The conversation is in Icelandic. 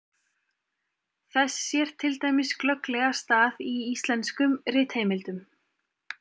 Þess sér til dæmis glögglega stað í íslenskum ritheimildum.